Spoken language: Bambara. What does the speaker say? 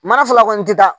Mana fila kɔni ti taa